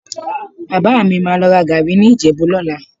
Bàbá mi má lọ ra gàárì ní Ìjẹ̀bú lọ́la